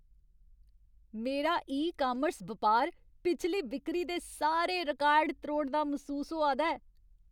मेरा e commerce बपार पिछली बिक्री दे सारे रिकार्ड त्रोड़दा मसूस होआ दा ऐ।